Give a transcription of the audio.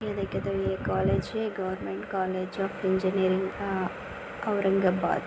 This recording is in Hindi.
ये कॉलेज है government college uh of engineering uh Aurangabad--